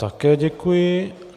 Také děkuji.